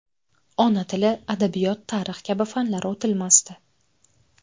Ona tili, adabiyot, tarix kabi fanlar o‘tilmasdi.